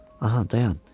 Aha, dayan.